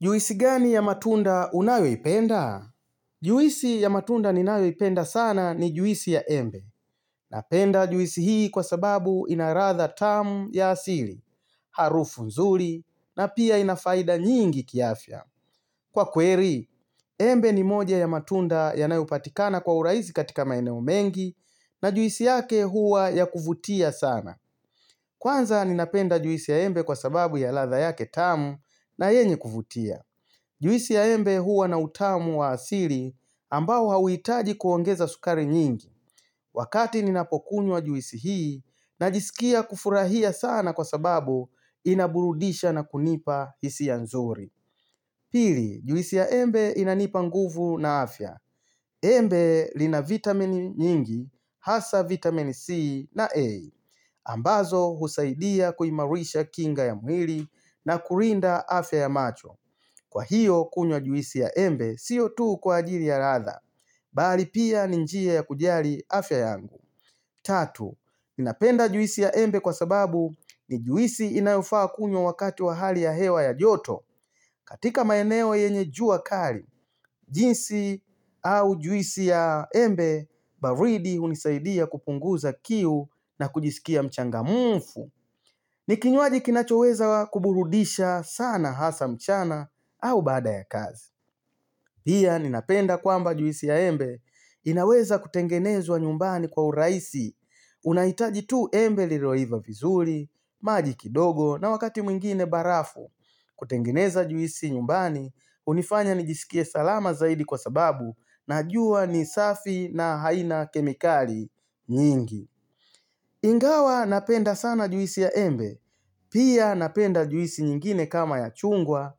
Juwisi gani ya matunda unayoipenda? Juisi ya matunda ninayoipenda sana ni juisi ya embe. Napenda juisi hii kwa sababu inaladha tamu ya asili, harufu nzuri, na pia ina faida nyingi kiafya. Kwa kweli, embe ni moja ya matunda yanayopatikana kwa urahisi katika maeneo mengi na juisi yake huwa ya kuvutia sana. Kwanza ninapenda juisi ya embe kwa sababu ya ladha yake tamu na yenye kuvutia. Juisi ya embe huwa na utamu wa asili ambao hauhitaji kuongeza sukari nyingi. Wakati ninapokunywa juisi hii, najisikia kufurahia sana kwa sababu inaburudisha na kunipa hisia nzuri. Pili, juisi ya embe inanipa nguvu na afya. Embe lina vitamini nyingi, hasa vitamin C na A ambazo husaidia kuimarisha kinga ya mwili na kulinda afya ya macho. Kwa hiyo kunywa juisi ya embe sio tu kwa ajili ya ladha, bali pia ni njia ya kujali afya yangu Tatu, ninapenda juisi ya embe kwa sababu ni juisi inayofaa kunywa wakati wa hali ya hewa ya joto. Katika maeneo yenye jua kali, jinsi au juisi ya embe baridi hunisaidia kupunguza kiu na kujisikia mchangamfu ni kinywaji kinachoweza kuburudisha sana hasa mchana au baada ya kazi Pia, ninapenda kwamba juisi ya embe inaweza kutengenezwa nyumbani kwa urahisi. Unahitaji tu embe lilioiva vizuri, maji kidogo, na wakati mwingine barafu. Kutengeneza juisi nyumbani, hunifanya nijisikie salama zaidi kwa sababu, najua ni safi na haina kemikali nyingi. Ingawa napenda sana juisi ya embe, pia napenda juisi nyingine kama ya chungwa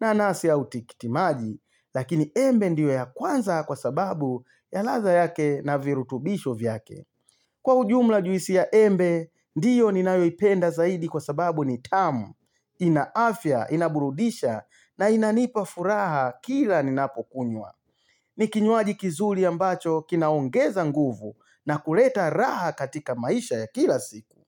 nanasi au tikitimaji, lakini embe ndio ya kwanza kwa sababu ya ladha yake na virutubisho vyake. Kwa ujumla, juisi ya embe ndiyo ninayoipenda zaidi kwa sababu ni tamu, ina afya, inaburudisha, na inanipa furaha kila ninapokunywa. Ni kinywaji kizuri ambacho kinaongeza nguvu na kuleta raha katika maisha ya kila siku.